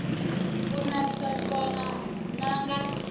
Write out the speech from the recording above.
i nakisa tshikona n anga